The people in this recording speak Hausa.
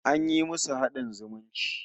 An yi musu haɗin zumunci